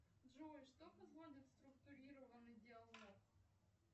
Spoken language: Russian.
джой что позволит структурированный диалог